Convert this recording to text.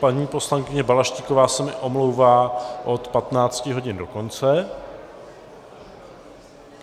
Paní poslankyně Balaštíková se mi omlouvá od 15 hodin do konce.